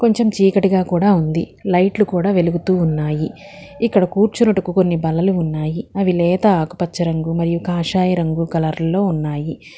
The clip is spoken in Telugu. చెం చీకటిగా కూడా ఉంది లైట్లు కూడా వెలుగుతూ ఉన్నాయి ఇక్కడ కూర్చున్నట్టుకు కొన్ని బలలు ఉన్నాయి అవి లేత ఆకుపచ్చ రంగు మరియు కాషాయ రంగు కలర్లలో ఉన్నాయి.